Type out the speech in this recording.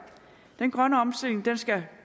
den grønne omstilling skal